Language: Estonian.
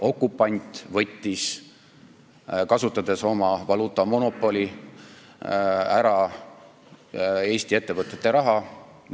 Okupant võttis, kasutades oma valuutamonopoli, ära Eesti ettevõtete raha.